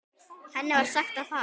Henni var sagt að fara.